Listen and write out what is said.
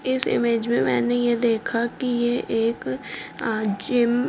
इस इमेज में मैंने यह देखा कि ये एक जिम --